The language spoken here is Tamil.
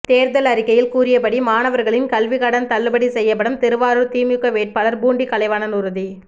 தேர்தல் அறிக்கையில் கூறியபடி மாணவர்களின் கல்விக்கடன் தள்ளுபடி செய்யப்படும் திருவாரூர் திமுக வேட்பாளர் பூண்டி கலைவாணன் உறுதி